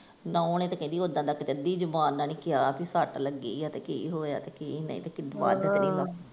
ਨੂੰਹ ਨੇ ਤੇ ਕਹਿੰਦੀ ਉੱਦਾ ਦਾ ਕਿਤੇ ਅੱਧੀ ਜੁਬਾਨ ਨਾਂ ਨੀ ਕਿਹਾ ਭੀ ਸੱਟ ਲੱਗੀ ਆ ਤੇ ਕਿ ਹੋਇਆ ਤੇ ਕਿ ਨਹੀਂ ਤੇ ਕਿਤੇ ਵੱਧ ਤੇ ਨੀ ਲੱਗੀ।